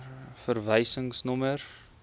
verwysingsnommer